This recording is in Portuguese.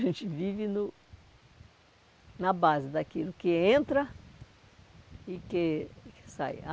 A gente vive no na base daquilo que entra e que e que sai.